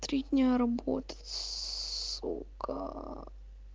три дня работать сука